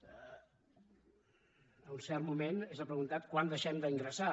en cert moment s’ha preguntat quant deixem d’ingressar